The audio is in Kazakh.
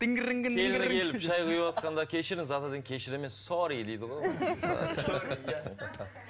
шай құйыватқанда кешіріңіз атадан кешір емес сорри дейді ғой